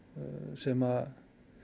sem